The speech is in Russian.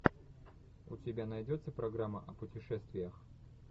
у тебя найдется программа о путешествиях